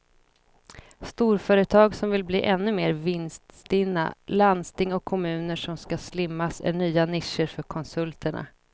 Storföretag som vill bli ännu mer vinststinna, landsting och kommuner som ska slimmas är nya nischer för konsulterna.